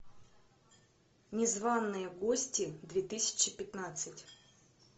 незваные гости две тысячи пятнадцать